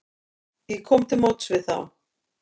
Ég kom til móts við þá.